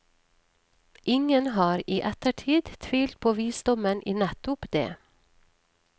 Ingen har i ettertid tvilt på visdommen i nettopp det.